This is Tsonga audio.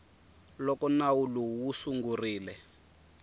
loko nawu lowu wu sungurile